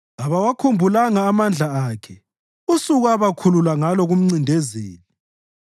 Kabawakhumbulanga amandla akhe usuku abakhulula ngalo kumncindezeli,